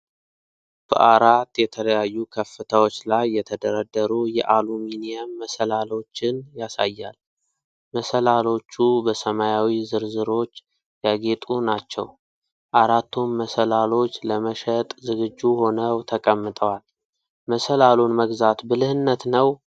በአራት የተለያዩ ከፍታዎች ላይ የተደረደሩ የአሉሚኒየም መሰላልዎችን ያሳያል። መሰላልዎቹ በሰማያዊ ዝርዝሮች ያጌጡ ናቸው። አራቱም መሰላልዎች ለመሸጥ ዝግጁ ሆነው ተቀምጠዋል። መሰላሉን መግዛት ብልህነት ነው?